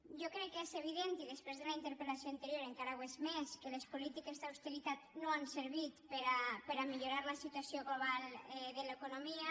jo crec que és evident i després de la interpel·lació anterior encara ho és més que les polítiques d’austeritat no han servit per a millorar la situació global de l’economia